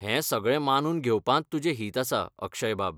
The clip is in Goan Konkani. हें सगळें मानून घेवपांत तुजें हित आसा, अक्षयबाब .